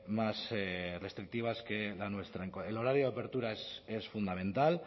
más restrictivas que la nuestra el horario de apertura es fundamental